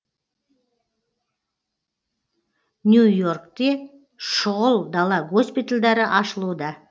нью и оркте шұғыл дала госпитальдары ашылуда